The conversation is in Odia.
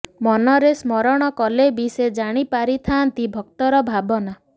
ମନରେ ସ୍ମରଣ କଲେ ବି ସେ ଜାଣି ପାରିଥାନ୍ତି ଭକ୍ତର ଭାବନା